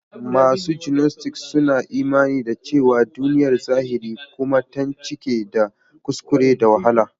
Masu gnostic suna imani da cewa duniyar zahiri kuma tan cike da kuskure da wahala.